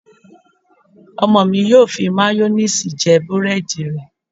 Ọmọ mi yóò fi máyóníìsì jẹ búrẹ́dì rẹ̀